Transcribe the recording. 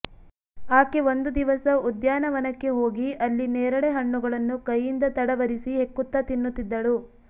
ಆಕೆ ಒಂದು ದಿವಸ ಉದ್ಯಾನವನಕ್ಕೆ ಹೋಗಿ ಅಲ್ಲಿ ನೇರಳೆ ಹಣ್ಣುಗಳನ್ನು ಕೈಯಿಂದ ತಡವರಿಸಿ ಹೆಕ್ಕುತ್ತ ತಿನುತ್ನ್ತಿದ್ದಳು